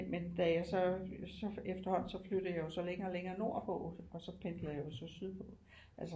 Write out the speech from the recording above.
Men da jeg så efterhånden så flyttede jeg jo så længere længere nordpå og så pendlede jeg jo så sydpå